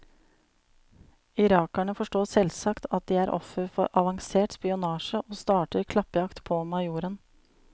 Irakerne forstår selvsagt at de er offer for avansert spionasje og starter klappjakt på majoren.